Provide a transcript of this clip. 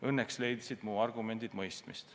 Õnneks leidsid mu argumendid mõistmist.